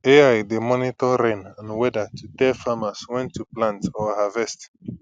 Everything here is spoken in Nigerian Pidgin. ai dey monitor rain and weather to tell farmers when to plant or harvest